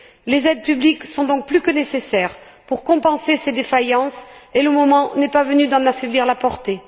Les aides publiques sont donc plus que nécessaires pour compenser ces défaillances et le moment n'est pas venu d'en affaiblir la portée.